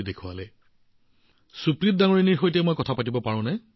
আপুনি তাত আছেনে সুপ্ৰীত জী আমি তেওঁৰ সৈতে কথা পাতিব পাৰোঁনে